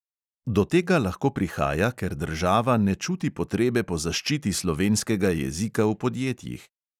Do tega lahko prihaja, ker država ne čuti potrebe po zaščiti slovenskega jezika v podjetjih.